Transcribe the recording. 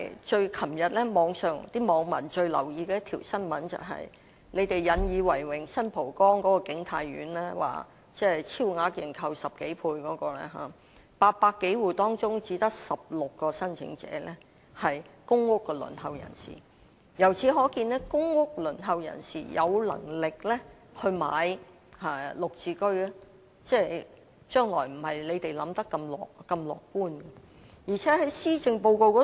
昨天網民最留意的一宗新聞便是政府引以為榮，超額認購10多倍的新蒲崗景泰苑 ，800 多戶中只有16名申請者是輪候公屋人士，由此可見，有能力購買"綠置居"的輪候公屋人士數目，未必如政府所想般那麼樂觀。